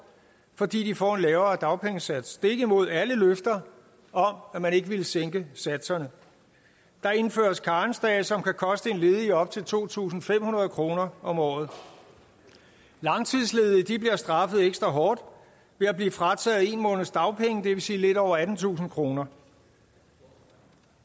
fordi de får en lavere dagpengesats stik imod alle løfter om at man ikke ville sænke satserne der indføres karensdage som kan koste en ledig op til to tusind fem hundrede kroner om året langtidsledige bliver straffet ekstra hårdt ved at blive frataget en måneds dagpenge det vil sige lidt over attentusind kroner